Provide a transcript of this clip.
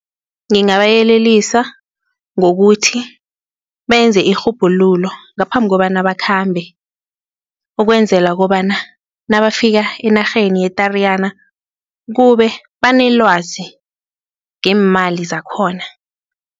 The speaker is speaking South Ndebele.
Ngingabayelelisa ngokuthi benze irhubhululo ngaphambi kobana bakhambe ukwenzela kobana nabafika enarheni ye-Tariyana kube banelwazi ngeemali zakhona.